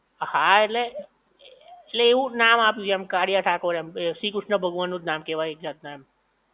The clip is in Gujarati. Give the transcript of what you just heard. હા ઍટલે, ઍટલે એવું નામ આપ્યું છે કાળીયા ઠાકોર એમ શ્રી કૃષ્ણ ભગવાન નું જ નામ કેવાય એક જાત ના